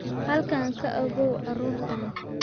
Halkan ka ogow carruurtan